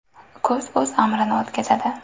Kuz o‘z amrini o‘tkazadi.